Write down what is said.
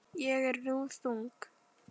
Ég er nú þung.